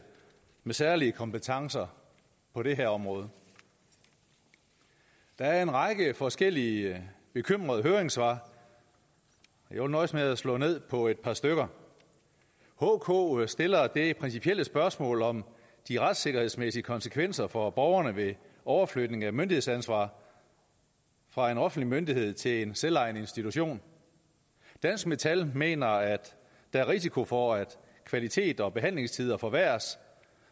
med særlige kompetencer på det her område der en række forskellige bekymrede høringssvar jeg vil nøjes med at slå ned på et par stykker hk stiller et principielt spørgsmål om de retssikkerhedsmæssige konsekvenser for borgerne ved overflytning af myndighedsansvaret fra en offentlig myndighed til en selvejende institution dansk metal mener at der er risiko for at kvalitet og behandlingstider forværres